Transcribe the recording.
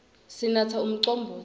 sinatsa umcombotsi